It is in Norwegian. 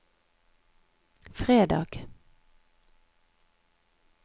fredag